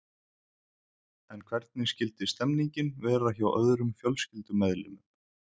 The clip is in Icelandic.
En hvernig skyldi stemningin vera hjá öðrum fjölskyldumeðlimum?